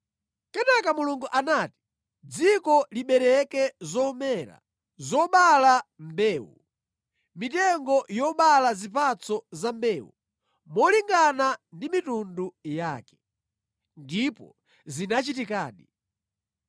Kenaka Mulungu anati, “Dziko libereke zomera zobala mbewu, mitengo yobala zipatso za mbewu, molingana ndi mitundu yake.” Ndipo zinachitikadi.